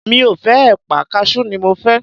mi o fe èpà, cashew ni mo fé